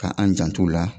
Ka an jant'u la